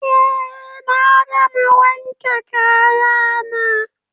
Eh na gama wanke kaya na